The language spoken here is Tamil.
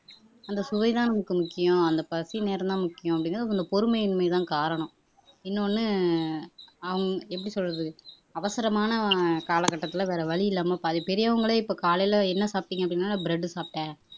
அந்த சுவைதான் நமக்கு முக்கியம் அந்த பசி நேரம்தான் முக்கியம் அப்படிங்கறது அவங்க பொறுமையின்மைதான் காரணம் இன்னொன்னு ஹம் எப்படி சொல்றது அவசரமான காலகட்டத்துல வேற வழி இல்லாம பாதி பெரியவங்களே இப்ப காலையில என்ன சாப்பிட்டீங்க அப்படின்னா bread சாப்பிட்டேன்